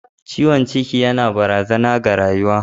Ciwon ciki yana barazana ga rayuwa.